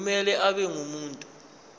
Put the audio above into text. kumele abe ngumuntu